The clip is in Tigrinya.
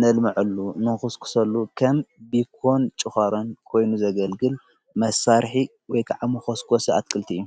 ነልምዐሉ ንኹስኩሰሉ ኸም ቢኮን ጭኾሮን ኮይኑ ዘገልግል መሳርሕ ወይከዓ ምኾስኮስ ኣትክልቲ እዩ::